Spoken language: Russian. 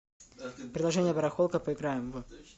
приложение барахолка поиграем в